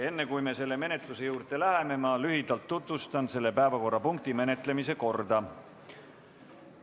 Enne kui me selle menetluse juurde läheme, ma lühidalt tutvustan selle päevakorrapunkti menetlemise korda.